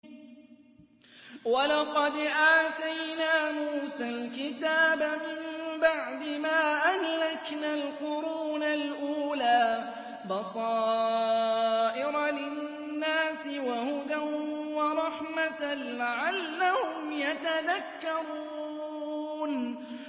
وَلَقَدْ آتَيْنَا مُوسَى الْكِتَابَ مِن بَعْدِ مَا أَهْلَكْنَا الْقُرُونَ الْأُولَىٰ بَصَائِرَ لِلنَّاسِ وَهُدًى وَرَحْمَةً لَّعَلَّهُمْ يَتَذَكَّرُونَ